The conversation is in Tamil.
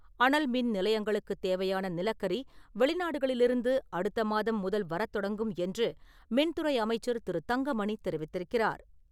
அனல் மின் நிலையங்களுக்குத் தேவையான நிலக்கரி வெளிநாடுகளிலிருந்து அடுத்த மாதம் முதல் வரத் தொடங்கும் என்று மின்துறை அமைச்சர் திரு. தங்கமணி தெரிவித்திருக்கிறார்.